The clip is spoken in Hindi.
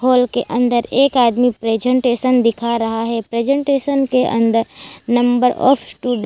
हॉल के अंदर एक आदमी प्रेजेंटेशन दिखा रहा हैं प्रेजेंटेशन के अंदर नंबर ऑफ टू --